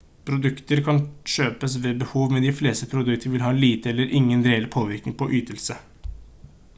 produkter kan kjøpes ved behov men de fleste produkter vil ha lite eller ingen reell påvirkning på ytelse